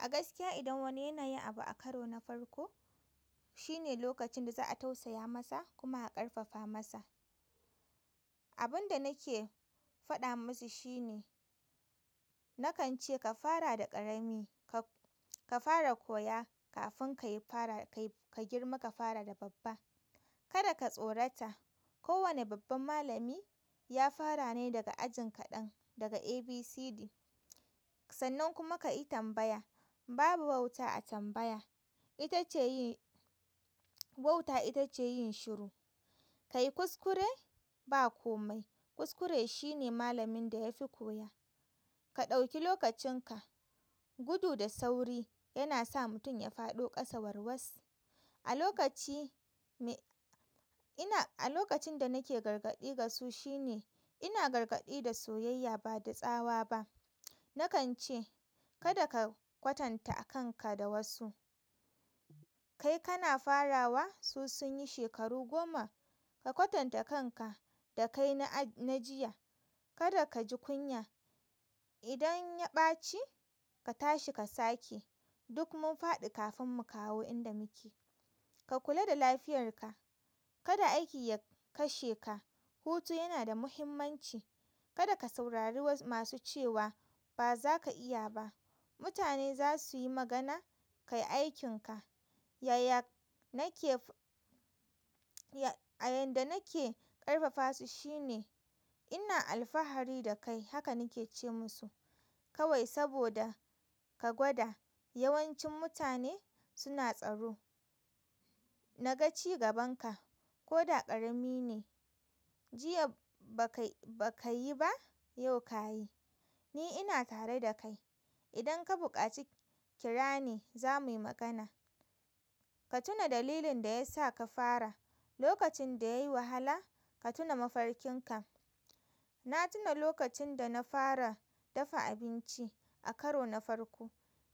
A gaskiya idan wani yana yin abu a karo na farko, shine lokacin da za a tausaya masa kuma a ƙarfafa masa. Abin da nake faɗa musu shine, nakan ce ka fara da ƙarami, ka fara koya kafin ka girma ka fara da babba. Kada ka tsorata, kowane babban malami ya fara ne daga ajin kaɗan, daga A, B, C, D. Sannan kuma ka yi tambaya, babu wauta a tambaya, wauta ita ce yin shiru. Ka yi kuskure, ba kome. Kuskure shine malamin da ya fi koya. Ka ɗauki lokacin ka, gudu da sauri yana sa mutum ya faɗo ƙasa warwas. A lokaci a lokacin da nake gargaɗi ga su shine ina gargaɗi ga soyayya bada tsawa ba nakan ce kada ka kwatanta kanka da wasu. Kai kana farawa, su sun yi shekaru goma. Ka kwatanta kanka da kai na jiya. Kada ka ji kunya. Idan ya ɓaci, ka tashi ka sake. Duk mun faɗi kafin mu kawo inda muke. Ka kula da lafiyarka. Kada aiki ya kashe ka. Hutu yana da muhimmanci. Kada ka saurari masu cewa ba za ka iya ba. Mutane za su yi magana, kai aikinka. Yaya nake, a yanda nake ƙarfafa su shine ina alfahari da kai, haka nake ce musu. Kawai saboda ka gwada, yawancin mutane suna tsaro. Na ga cigabanka, ko da ƙarami ne. Jiya ba ka yi ba, yau ka yi. Ni ina tare da kai. Idan ka buƙaci, kira ni za mu yi magana. Ka tuna dalilin da ya sa ka fara. Lokacin da yayi wahala, ka tuna mafarkin ka. Na tuna lokacin da na fara dafa abinci a karo na farko,